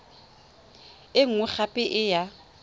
e nngwe gape e ya